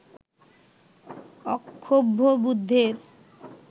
অক্ষোভ্য বুদ্ধের